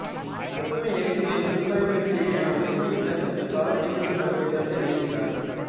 ஒப்புமை இயக்கங்களின் குறிப்பாயங்களுக்கிடையேயான ஒப்புமையை விளக்கக் காலநீட்டிப்பு பற்றிய கருத்தை வெளியிட்டார்